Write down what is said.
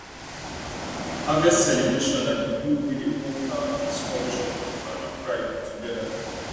harvest celebration na di glue wey dey hold our peace culture and farming pride together